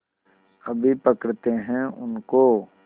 अभी पकड़ते हैं उनको